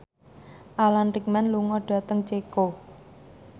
Alan Rickman lunga dhateng Ceko